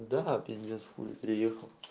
да пиздец хули приехал